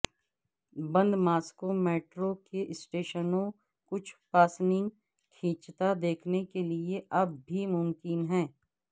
بند Moscow metro کے اسٹیشنوں کچھ پاسنگ کھینچتا دیکھنے کے لئے اب بھی ممکن ہے